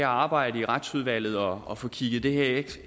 arbejdet i retsudvalget og og få kigget det